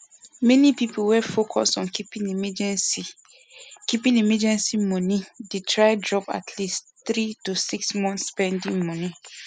many people wey focus on keeping emergency keeping emergency money dey try drop atleast three to six month spending money